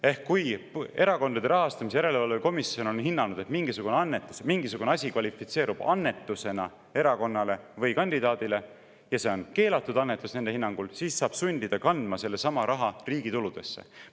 Ehk kui Erakondade Rahastamise Järelevalve Komisjon on hinnanud, et mingisugune annetus, mingisugune asi kvalifitseerub erakonnale või kandidaadile annetuseks, ja see on nende hinnangul keelatud annetus, siis saab sundida kandma selle raha riigi tuludesse.